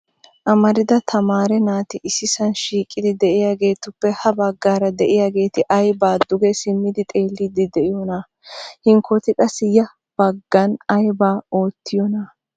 Amarida tamaare naati issisan shiiqidi de'iyaagetuppe ha baggaara de'iyaageeti aybba duge simmidi xeellide de'oosona. Hinkkoti qassi ya baggan aybba oottiyoona?